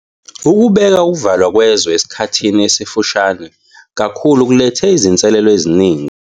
Ukubeka ukuvalwa kwezwe esikhathini esifushane kakhulu kulethe izinselelo eziningi.